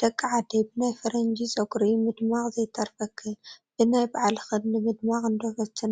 ደቂ ዓደይ ብናይ ፈረንጂ ጨጉሪ ምድማቕ ዘይተርፈክን፡፡ ብናይ ባዕልኽን ንምድማቕ እንዶ ፈትና፡፡